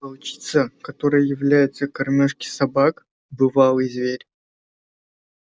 волчица которая является кормёжке собак бывалый зверь